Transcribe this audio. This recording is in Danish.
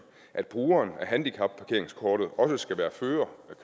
at brugeren af handicapparkeringskortet også skal være fører